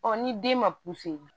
Ɔ ni den ma